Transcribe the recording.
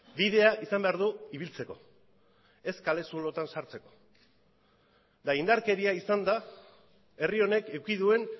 bidea izan behar du ibiltzeko ez kale zulotan sartzeko eta indarkeria izan da herri honek eduki duen